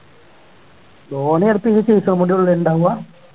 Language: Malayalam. ധോണി അടുത്ത ഈ season കൂടി അല്ലെ ഉണ്ടാവുക